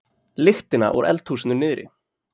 lyktina úr eldhúsinu niðri.